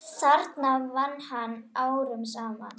þarna vann hann árum saman.